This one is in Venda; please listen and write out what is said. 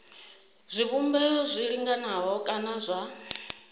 zwivhumbeo zwi linganaho kana zwa